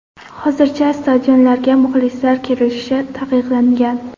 Hozircha stadionlarga muxlislar kiritilishi taqiqlangan.